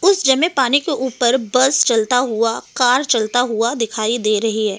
उस जमे पानी के ऊपर बस चलता हुआ कार चलता हुआ दिखाई दे रही है।